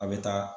A bɛ taa